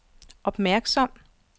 opmærksom